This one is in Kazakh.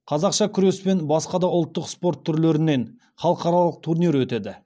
қазақша күрес пен басқа да ұлттық спорт түрлерінен халықаралық турнир өтеді